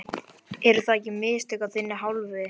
Eru það ekki mistök af þinni hálfu?